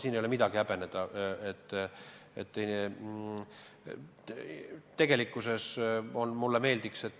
Siin ei ole midagi häbeneda.